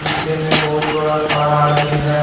पीछे में बहुत बड़ा पहाड़ भी है।